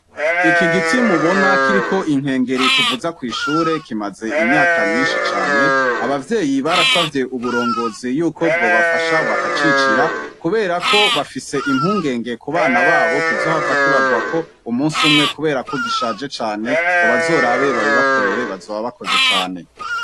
Iki giti mubona kiriko inkengeri tuvuza kwishure kimaze imyaka myinshi cane abavyeyi barasavye uburongozi yuko bwobafasha bakacicira kubera ko bafise impungenge ku bana babo kizohava kibagwako umunsi umwe kubera ko gishaje cane ngo bazorabe babibakorere bazoba bakoze cane.